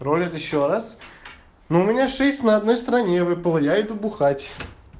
ролик ещё раз ну у меня шесть на одной стороне выпало я иду бухать